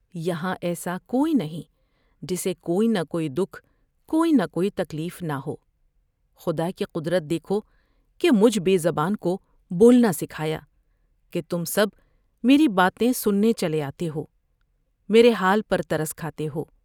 یہاں ایسا کوئی نہیں جسے کوئی نہ کوئی دکھ کوئی نہ کوئی تکلیف نہ ہو ، خدا کی ، قدرت دیکھو کہ مجھے بے زبان کو بولنا سکھا یا کہ تم سب میری باتیں سننے چلے آتے ہو ، میرے حال پر ترس کھاتے ہو ۔